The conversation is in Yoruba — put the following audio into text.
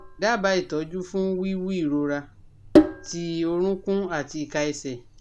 Daaba itoju fun wiwu irora ti orunkun ati ika ese